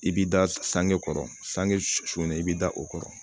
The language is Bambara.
I b'i da sange kɔrɔ sange su su na i b'i da o kɔrɔ